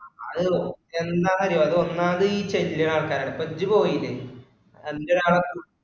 അത് എന്താന്ന് അറിയോ അത് ഒന്നാം തീ ചെല്ലുനാൽക്കര അപ്പൊ ഇജ്ജ് പോയില്ലേ